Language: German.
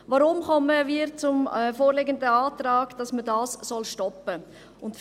Weshalb kommen wir zum vorliegenden Antrag, wonach man dies stoppen soll?